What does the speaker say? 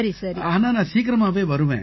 ஆனா நான் சீக்கிரமாவே வருவேன்